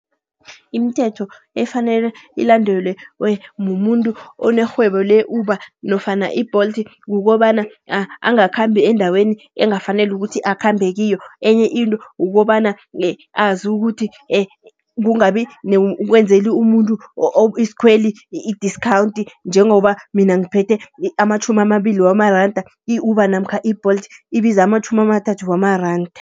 Imithetho efanele ilandelwe mumuntu onerhwebo le-Uber nofana i-Bolt, kukobana angakhambi eendaweni engakafaneli ukuthi akhambe kiyo. Enye into ukobana azi ukuthi kungabi kwenzele umuntu iskhweli i-discount. Njengoba mina ngiphethe ematjhumi amabili wamaranda i-Uber namkha i-Bolt ibiza amatjhumi amathathu wamaranda.